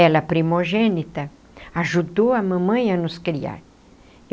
Ela, primogênita, ajudou a mamãe a nos criar.